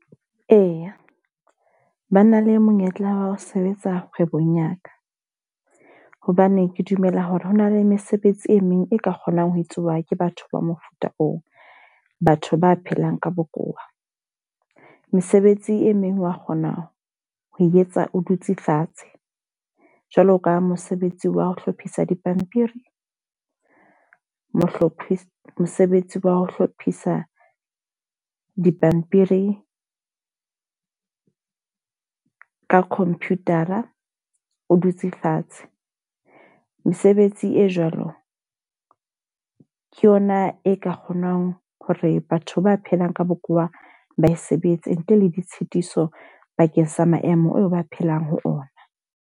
Eya, ba na le monyetla wa ho sebetsa kgwebong ya ka. Hobane ke dumela hore hona le mesebetsi e meng e ka kgonang ho etsuwa ke batho ba mofuta oo, batho ba phelang ka bokowa. Mesebetsi e meng wa kgona ho etsa o dutse fatshe. Jwalo ka mosebetsi wa ho hlophisa dipampiri, mohlophi mosebetsi wa ho hlophisa dipampiri ka computer-a o dutse fatshe. Mesebetsi e jwalo ke yona e ka kgonang hore batho ba phelang ka bokowa ba e sebetse. Ntle le ditshitiso bakeng sa maemo oo ba phelang ho ona.